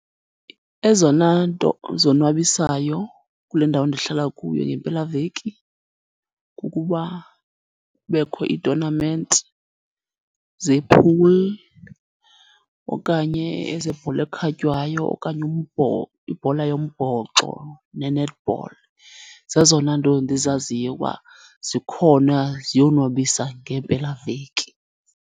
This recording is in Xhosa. Ezona nto zonwabisayo kule ndawo ndihlala kuyo ngempelaveki kukuba kubekho ii-tonament ze-pool, okanye ezebhola ekhatywayo okanye ibhola yombhoxo ne-netball. Zezona nto ndizaziyo uba zikhona ziyonwabisa ngempelaveki.